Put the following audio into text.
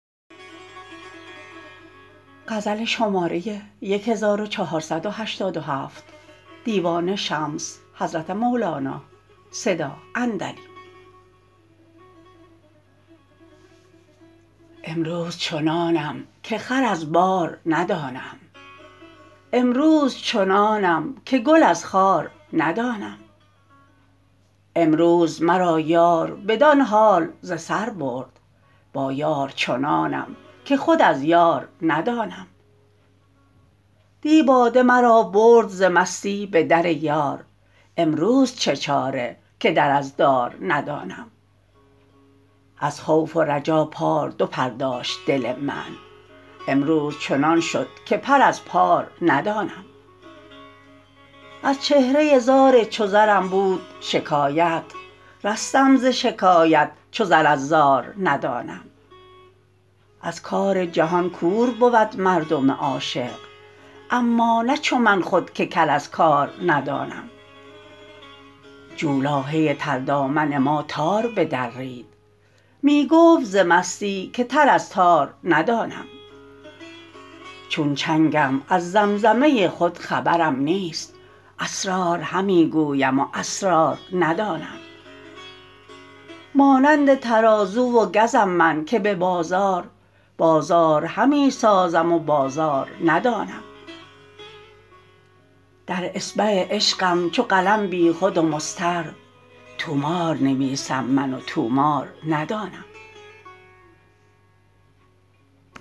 امروز چنانم که خر از بار ندانم امروز چنانم که گل از خار ندانم امروز مرا یار بدان حال ز سر برد با یار چنانم که خود از یار ندانم دی باده مرا برد ز مستی به در یار امروز چه چاره که در از دار ندانم از خوف و رجا پار دو پر داشت دل من امروز چنان شد که پر از پار ندانم از چهره زار چو زرم بود شکایت رستم ز شکایت چو زر از زار ندانم از کار جهان کور بود مردم عاشق اما نه چو من خود که کر از کار ندانم جولاهه تردامن ما تار بدرید می گفت ز مستی که تر از تار ندانم چون چنگم از زمزمه خود خبرم نیست اسرار همی گویم و اسرار ندانم مانند ترازو و گزم من که به بازار بازار همی سازم و بازار ندانم در اصبع عشقم چو قلم بیخود و مضطر طومار نویسم من و طومار ندانم